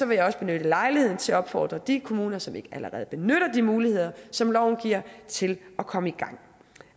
vil jeg også benytte lejligheden til at opfordre de kommuner som ikke allerede benytter de muligheder som loven giver til at komme i gang